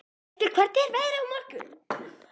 Eskja, hvernig er veðrið á morgun?